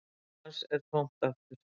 Glasið hans er tómt aftur